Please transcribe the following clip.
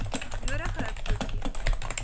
nodige hupstoot gee